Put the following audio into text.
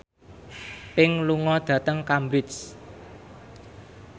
Pink lunga dhateng Cambridge